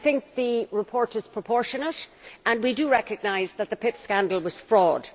The report is proportionate, and we recognise that the PIP scandal was fraud.